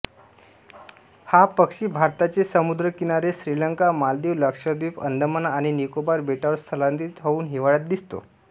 हा पक्षी भारताचे समुद्रकिनारे श्रीलंका मालदीव लक्षद्वीप अंदमान आणि निकोबार बेटांवर स्थलांतरित होवून हिवाळ्यात दिसतो